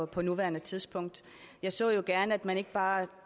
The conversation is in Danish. på nuværende tidspunkt jeg så jo gerne at man ikke bare